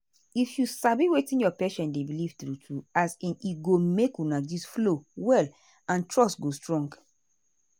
if you sabi wetin your patient dey believe true true as in e go make una gist flow well and trust go strong.